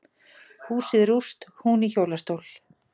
Húsið rúst, hún í hjólastól